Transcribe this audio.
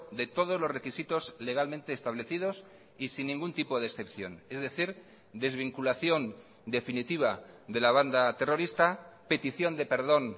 de todos los requisitos legalmente establecidos y sin ningún tipo de excepción es decir desvinculación definitiva de la banda terrorista petición de perdón